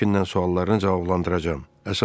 Həmcindən suallarını cavablandıracağam.